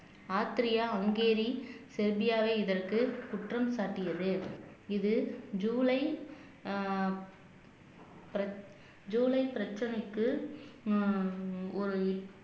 ஆத்ரியா Hungary செவ்பியாவே இதற்கு குற்றம் சாட்டியது இது ஜூலை அஹ் பிரி ஜூலை பிரச்சனைக்கு உம் ஒரு